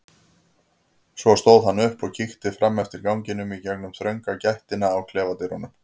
Svo stóð hann upp og kíkti fram eftir ganginum í gegnum þrönga gættina á klefadyrunum.